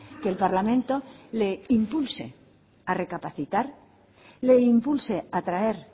que el parlamento le impulse a recapacitar le impulse a traer